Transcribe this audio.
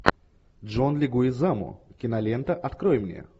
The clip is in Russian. джон легуизамо кинолента открой мне